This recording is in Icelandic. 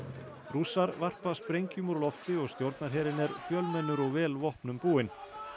rússar varpa sprengjum úr lofti og stjórnarherinn er fjölmennur og vel vopnum búinn